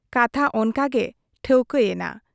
ᱠᱟᱛᱷᱟ ᱚᱱᱠᱟᱜᱮ ᱴᱷᱟᱹᱣᱠᱟᱹ ᱮᱱᱟ ᱾